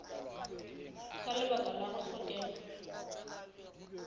ka lebaka la go hlokega